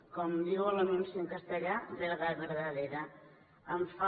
com diu l’anunci en castellà verdad verdadera